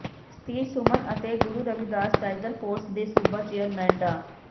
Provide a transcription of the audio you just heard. ਸਤੀਸ਼ ਸੁਮਨ ਅਤੇ Guru Ravidas tiger force ਦੇ ਸੂਬਾ ਚੇਅਰਮੈਨ ਡਾ